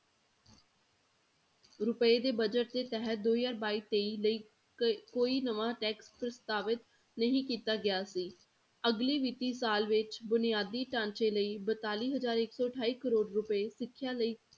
ਰੁਪਏ ਦੇ budget ਦੇ ਤਹਿਤ ਦੋ ਹਜ਼ਾਰ ਬਾਈ ਤੇਈ ਲਈ ਕ~ ਕੋਈ ਨਵਾਂ tax ਪ੍ਰਸਤਾਵਿਤ ਨਹੀਂ ਕੀਤਾ ਗਿਆ ਸੀ, ਅਗਲੀ ਵਿੱਤੀ ਸਾਲ ਵਿੱਚ ਬੁਨਿਆਦੀ ਢਾਂਚੇ ਲਈ ਬਤਾਲੀ ਹਜ਼ਾਰ ਇੱਕ ਸੌ ਅਠਾਈ ਕਰੌੜ ਰੁਪਏ ਸਿੱਖਿਆ ਲਈ